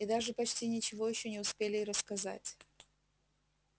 и даже почти ничего ещё не успели и рассказать